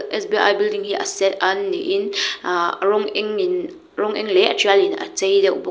sbi building hi a sen an ni in ahh rawng eng in rawng eng leh a ṭial in a chei deuh bawk.